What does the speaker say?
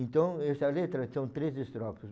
Então, essa letra são três estrofes.